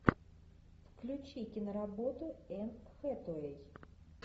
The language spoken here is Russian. включи киноработу энн хэтэуэй